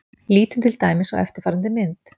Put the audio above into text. Lítum til dæmis á eftirfarandi mynd.